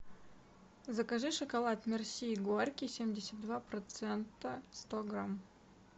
закажи шоколад мерси горький семьдесят два процента сто грамм